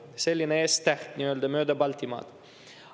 Selline nii-öelda S-täht mööda Baltimaid.